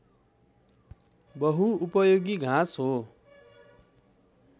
बहुउपयोगी घाँस हो